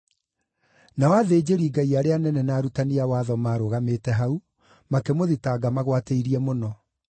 Nao athĩnjĩri-Ngai arĩa anene na arutani a watho maarũgamĩte hau, makĩmũthitanga magwatĩirie mũno.